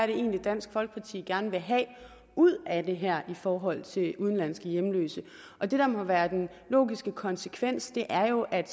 det egentlig er dansk folkeparti gerne vil have ud af det her i forhold til udenlandske hjemløse og det der må være den logiske konsekvens er jo at